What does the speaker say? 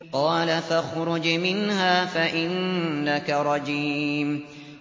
قَالَ فَاخْرُجْ مِنْهَا فَإِنَّكَ رَجِيمٌ